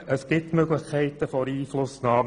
Es gibt Einflussmöglichkeiten für den Kanton.